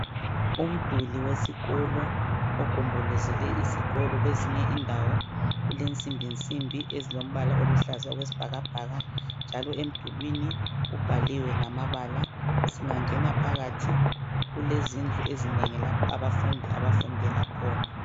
Umduli wesikolo ogombolozele isikolo kwezinye indawo ulensimbi nsimbi ezilombala oluhlaza okwesibhakabhaka njalo emdulwini kubhaliwe ngamabala. Singangena phakathi, kulezindlu ezinengi lapho abafundi, abafundela khona